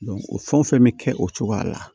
o fɛn o fɛn bɛ kɛ o cogoya la